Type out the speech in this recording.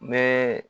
N bɛ